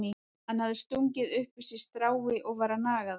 Hann hafði stungið upp í sig strái og var að naga það.